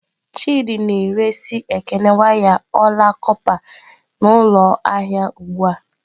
Chidị na-ere si Ekene waya ọla kọpa n'ụlọ ahịa ugbu a.